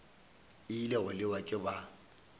ile go lewa ke ba